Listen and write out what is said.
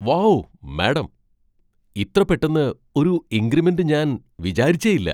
Wow madam! ഇത്ര പെട്ടന്ന് ഒരു ഇൻക്രിമെന്റ് ഞാൻ വിചാരിച്ചേയില്ല!